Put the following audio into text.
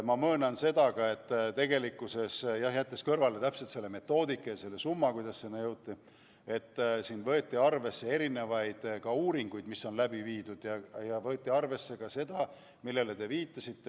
Ma möönan ka, et kui jätta kõrvale see summa ja täpne metoodika, kuidas sinna jõuti, siis arvesse võeti uuringuid, mis on tehtud, samuti inimeste tarbimisharjumusi, millele teiegi viitasite.